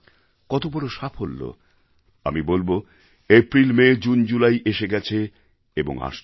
কত বড় সাফল্য আমি বলব এপ্রিল মে জুন জুলাই এসে গেছে এবং আসছে